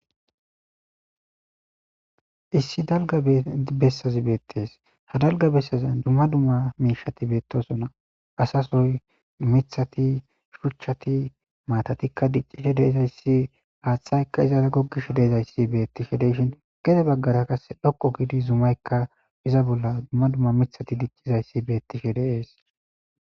Issi dalgga bessazi bettes hayssi dalgga bessazi dumma dumma mishati bettosona asa sohoy,mithathati, shuchchati,maatati dicci de'etes haththati izara gukkizayssi bettes. Gede bagara zumaykka iza bolla miththay betishe de'es.